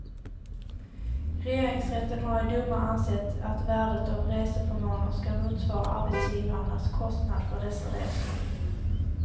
Regeringsrätten har i domar ansett att värdet av reseförmåner skall motsvara arbetsgivarnas kostnad för dessa resor.